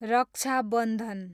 रक्षा बन्धन